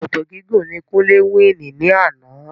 Sòkòtò gígùn ni Kúnlé will ní àná.